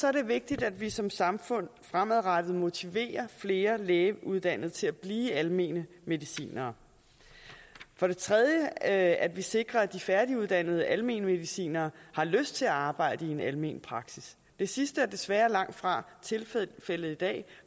er det vigtigt at vi som samfund fremadrettet motiverer flere lægeuddannede til at blive almene medicinere for det tredje er at vi sikrer at de færdiguddannede almene medicinere har lyst til at arbejde i en almen praksis det sidste er desværre langtfra tilfældet i dag